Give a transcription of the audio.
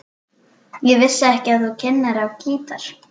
Ég vissi ekki að þú kynnir á gítar.